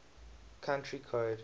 country code